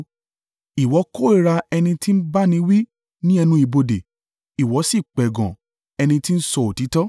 Ìwọ kórìíra ẹni tí ń bá ni wí ní ẹnu ibodè ó sì ń pẹ̀gàn ẹni tí ń sọ òtítọ́.